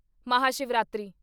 Mahashivratri